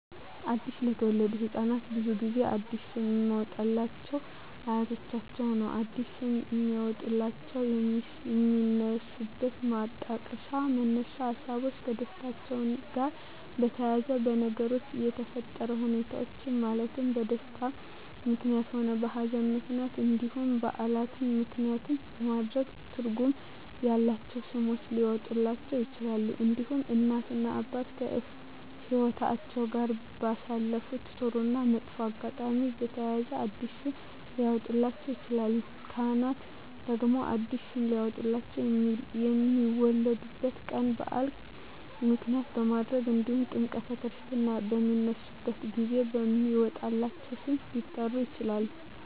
አዲስ ለተወለዱ ህፃናት ብዙውን ጊዜ አዲስ ስም የሚያወጡሏቸው አያቶቻቸውን ነው አዲስ ስም የሚያወጧላቸው የሚነሱበት ማጣቀሻ መነሻ ሀሳቦች ከደስታቸው ጋር በተያያዘ በነገሮች በተፈጠረ ሁኔታዎች ማለትም በደስታም ምክንያትም ሆነ በሀዘንም ምክንያት እንዲሁም በዓላትን ምክንያትም በማድረግ ትርጉም ያላቸው ስሞች ሊያወጡላቸው ይችላሉ። እንዲሁም እናት እና አባት ከህይወትአቸው ጋር ባሳለፉት ጥሩ እና መጥፎ አጋጣሚ በተያያዘ አዲስ ስም ሊያወጡላቸው ይችላሉ። ካህናት ደግሞ አዲስ ስም ሊያወጡላቸው የሚወለዱበት ቀን በዓል ምክንያት በማድረግ እንዲሁም ጥምረተ ክርስትና በሚነሱበት ጊዜ በሚወጣላቸው ስም ሊጠሩ ይችላሉ።